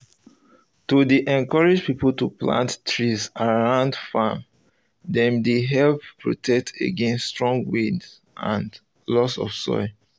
to dey encourage people to plant um trees around farm dem dey help protect against strong wind and loss of soil